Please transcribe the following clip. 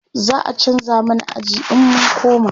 za'a chanza mana aji in mun koma